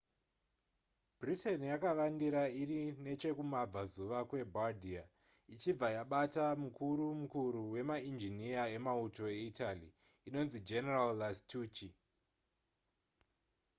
britain yakavandira iri nechekumabvazuva kwebardia ichibva yabata mukuru mukuru wemainjiniya emauto eitaly anonzi general lastucci